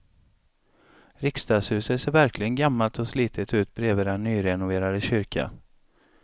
Riksdagshuset ser verkligen gammalt och slitet ut bredvid den nyrenoverade kyrkan.